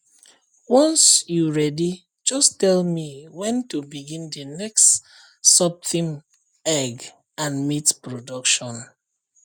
once you ready just tell me when to begin the next subtheme egg and meat production